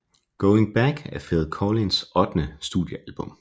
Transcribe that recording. Going Back er Phil Collins ottende studiealbum